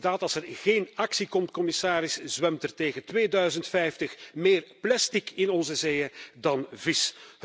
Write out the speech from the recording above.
Inderdaad, als er geen actie komt, commissaris, zwemt er tegen 2050 meer plastic in onze zeeën dan vis.